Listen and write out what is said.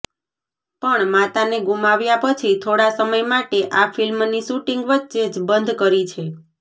પણ માતાને ગુમાવ્યા પછી થોડા સમય માટે આ ફિલ્મની શૂટિંગ વચ્ચે જ બંધ કરી છે